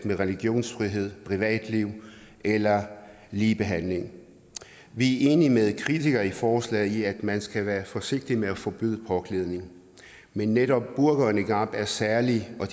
med religionsfrihed privatliv eller ligebehandling vi er enige med kritikere af forslaget i at man skal være forsigtig med at forbyde påklædning men netop burka og niqab er særlige og